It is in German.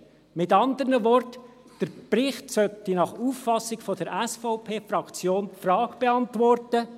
Mit anderen Worten: Der Bericht sollte nach Auffassung der SVP-Fraktion die Frage beantworten: